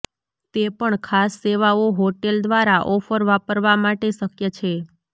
તે પણ ખાસ સેવાઓ હોટેલ દ્વારા ઓફર વાપરવા માટે શક્ય છે